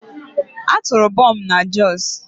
A tụrụ bọmbụ na Jos.